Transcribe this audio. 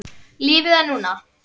Lífið er núna!